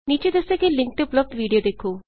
ਨੀਚੇ ਦੱਸੇ ਗਏ ਲਿੰਕ ਤੇ ਉਪਲੱਭਦ ਵੀਡੀਊ ਵੇਖੋ